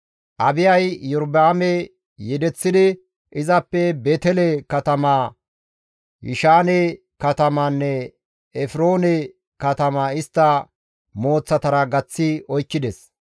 Abiyay Iyorba7aame yedeththidi izappe Beetele katamaa, Yishaane katama, Efroone katamaa istta mooththatara gaththi oykkides.